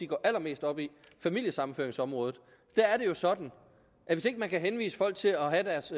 går allermest op i familiesammenføringsområdet der er det jo sådan at hvis ikke man kan henvise folk til at have deres